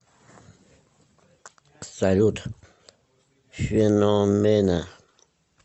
салют феномена